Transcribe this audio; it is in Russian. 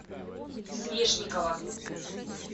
свешникова